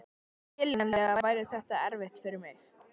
Skiljanlega væri þetta erfitt fyrir mig.